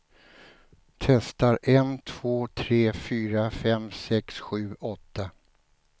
Testar en två tre fyra fem sex sju åtta.